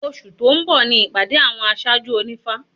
Oṣù tó ń bọ̀ ni ìpàdé àwọn aṣáájú ònífá